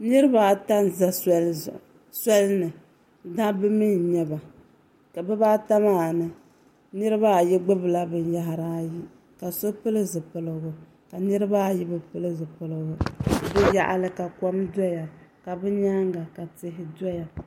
Niraba ata n ʒɛ soli ni dabba mii n nyɛba ka bibaata maa ni niraba ayi gbubila binyahari ayi ka so pili zipiligu ka niraba ayi bi pili zipiligu bi yaɣali ka kom doya ka bi nyaanga ka tihi doya